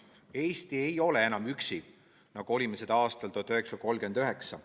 Eesti ei ole enam üksi, nagu olime seda aastal 1939.